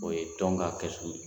O ye tɔn ka kɛsu ye